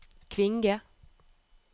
Kvinge